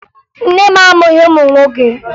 Nne m amụghị ụmụ nwoke